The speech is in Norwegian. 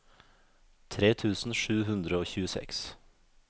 tre tusen sju hundre og tjueseks